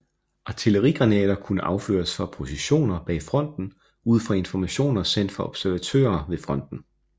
Artillerigranater kunne affyres fra positioner bag fronten ud fra informationer sendt fra observatører ved fronten